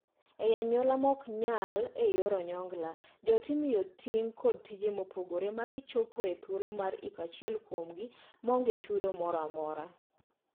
Ei anyuola ma ok nyal e yor onyongla, joot imiyo ting' kod tije mopogore ma gichopo e thuolo mar iko achiel kuomgi ma onge chudo moro amora.